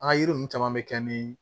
An ka yiri ninnu caman bɛ kɛ ni